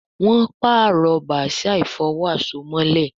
Wón parọ Bàsíà ìfọ̀wo àsomọ́lẹ̀